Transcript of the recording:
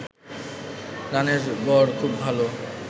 রানের গড় খুব ভালো